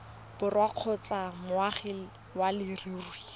borwa kgotsa moagi wa leruri